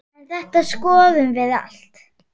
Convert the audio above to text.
En þetta skoðum við allt.